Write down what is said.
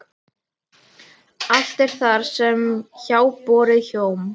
Allt er það sem háborið hjóm.